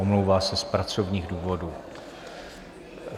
Omlouvá se z pracovních důvodů.